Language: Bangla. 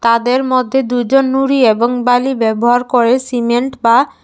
তাদের মধ্যে দুজন নুড়ি এবং বালি ব্যবহার করে সিমেন্ট বা--